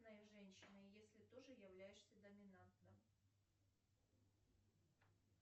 женщина если тоже являешься доминантом